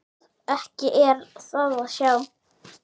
Ekki er það að sjá.